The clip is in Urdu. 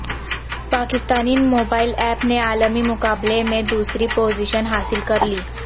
پاکستانی موبائل ایپ نےعالمی مقابلے میں دوسری پوزیشن حاصل کرلی